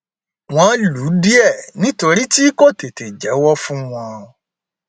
wọn lù ú díẹ nítorí tí tí kò tètè jẹwọ fún wọn